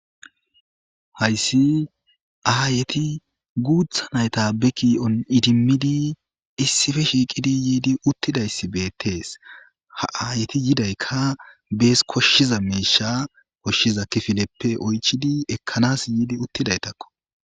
Hayissi ayeti guththa nayita be ki''on iddimid issippe shiqqid yiddi uttidayisi bettes ayeti yidayika bessi koshizza mishsha koshiza kifileppe oyichidi ekkanas Yiddish uttidayitako.